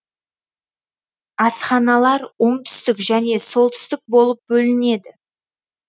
асханалар оңтүстік және солтүстік болып бөлінеді